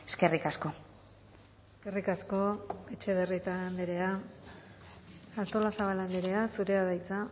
eskerrik asko eskerrik asko etxebarrieta andrea artolazabal andrea zurea da hitza